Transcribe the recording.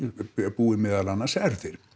búi meðal annars erfðir